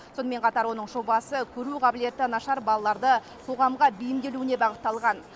сонымен қатар оның жобасы көру қабілеті нашар балаларды қоғамға бейімделуіне бағытталған